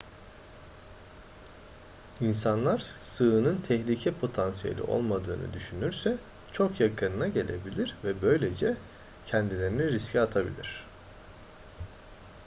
i̇nsanlar sığının tehlike potansiyeli olmadığını düşünürse çok yakınına gelebilir ve böylece kendilerini riske atabilir